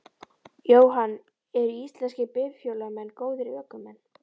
Jóhann: Eru íslenskir bifhjólamenn góðir ökumenn?